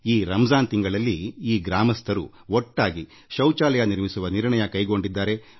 ಈ ರಂಜಾನ್ ಮಾಸದಲ್ಲಿ ಈ ಗ್ರಾಮಸ್ಥರು ಒಟ್ಟಾಗಿ ಸೇರಿ ಶೌಚಾಲಯ ನಿರ್ಮಿಸುವ ನಿರ್ಣಯ ಕೈಗೊಂಡಿದ್ದಾರೆ